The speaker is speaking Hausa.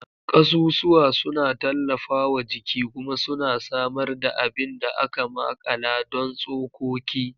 Kasusuwa suna tallafawa jiki kuma suna samar da abin da aka makala don tsokoki.